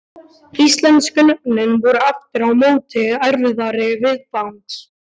Íslensku nöfnin voru aftur á móti erfiðari viðfangs.